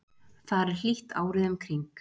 þar er hlýtt árið um kring